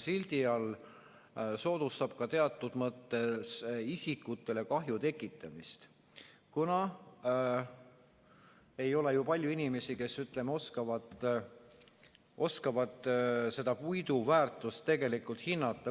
sildi all soodustab ka teatud mõttes isikutele kahju tekitamist, kuna ei ole ju palju inimesi, kes oskavad seda puidu väärtust tegelikult hinnata.